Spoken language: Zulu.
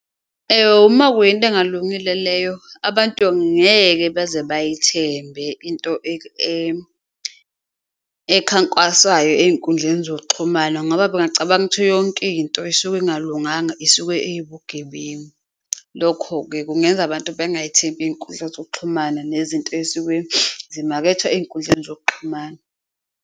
Uma kuyinto engalungile leyo, abantu ngeke baze bayithembe into ekhankwaswayo ey'kundleni zokuxhumana kungaba bengacabanga ukuthi yonkinto esuke ingalunganga isuke iwubugebengu. Lokho-ke kungenza abantu bengayithembi iy'nkundla zokuxhumana nezinto ey'suke ezimakethwa ey'nkundleni zokuxhumana.